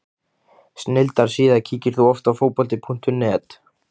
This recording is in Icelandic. Snilldar síða Kíkir þú oft á Fótbolti.net?